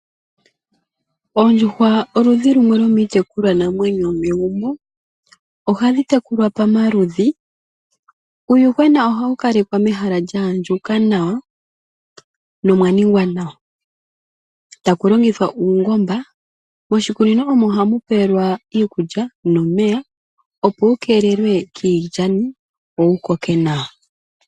Oondjuhwa oludhi lumwe lwo miitekulwanamwenyo yomegumbo. Oga dhi tekulwa pamaludhi. Uuyuhwena oga wu kalekwa mehala lya andjuka nawa nolya ningwa nawa. Taku longithwa uungoba, moshikunino omo ha mu pelwa uuyuhwena iikulya nomeya, opo wu keelelwe kiilyani wo wu koke nawa.